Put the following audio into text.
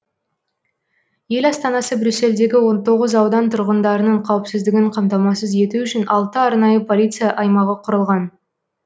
ел астанасы брюссельдегі он тоғыз аудан тұрғындарының қауіпсіздігін қамтамасыз ету үшін алты арнайы полиция аймағы құрылған